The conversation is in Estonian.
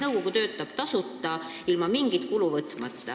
Nõukogu töötab tasuta, ilma mingi kuluta.